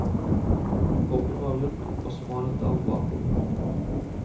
Kroppen var rund og smalnet av bakover.